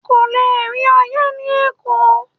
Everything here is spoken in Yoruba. O kò le rí Ọyẹ́ ni Èkó.